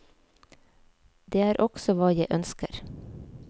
Det er også hva jeg ønsker.